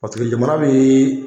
Paseke jamana min